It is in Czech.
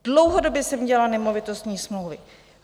Dlouhodobě jsem dělala nemovitostní smlouvy.